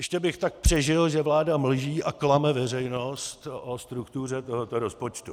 Ještě bych tak přežil, že vláda mlží a klame veřejnost o struktuře tohoto rozpočtu.